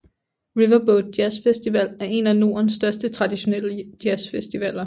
Riverboat Jazzfestival er en af nordens største traditionelle jazzfestivaler